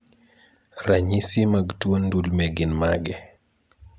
Ranyisi mag tuo ndulme gin mage?